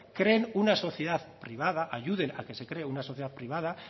creen una sociedad privada ayuden a que se cree una sociedad privada